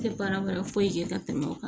Tɛ baara wɛrɛ foyi kɛ ka tɛmɛ o kan